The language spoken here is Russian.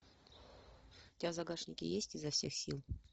у тебя в загашнике есть изо всех сил